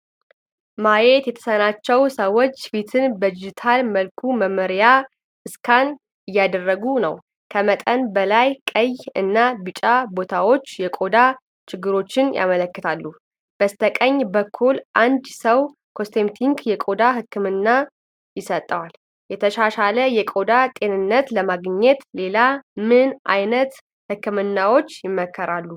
ማየት የተሳናቸው ሰዎች ፊትን በዲጂታል መልኩ መመርመሪያ ስካን እያደረጉ ነው። ከመጠን በላይ ቀይ እና ቢጫ ቦታዎች የቆዳ ችግሮችን ያመለክታሉ። በስተቀኝ በኩል አንድ ሰው ኮስሜቲክ የቆዳ ሕክምና ይሰጠዋል። የተሻሻለ የቆዳ ጤንነት ለማግኘት ሌላ ምን ዓይነት ህክምናዎች ይመከራሉ?